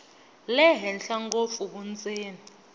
le henhla ngopfu vundzeni